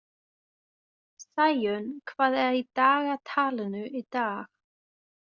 Sæunn, hvað er í dagatalinu í dag?